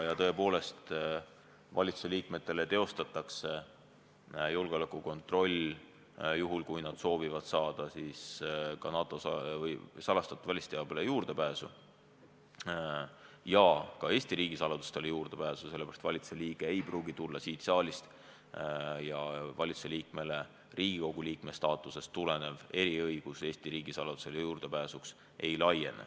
Nad läbivad julgeolekukontrolli juhul, kui nad soovivad saada juurdepääsu NATO salastatud välisteabele ja ka Eesti riigisaladustele, sellepärast, et valitsuse liige ei pruugi tulla siit saalist ja Riigikogu liikme staatusest tulenev eriõigus Eesti riigisaladusele juurdepääsuks talle ei laiene.